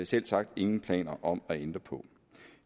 selvsagt ingen planer om at ændre på